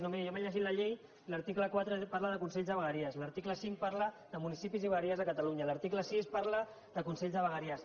no miri jo m’he llegit la llei i l’article quatre parla de consells de vegueries i l’article cinc parla de municipis i vegueries de catalunya l’article sis parla de consell de vegueries